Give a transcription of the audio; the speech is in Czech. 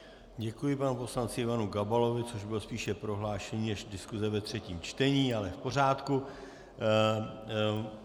Děkuji panu poslanci Ivanu Gabalovi, což bylo spíše prohlášení než diskuse ve třetím čtení, ale v pořádku.